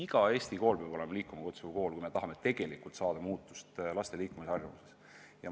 Iga Eesti kool peab olema liikuma kutsuv kool, kui me tõesti tahame laste liikumisharjumust muuta.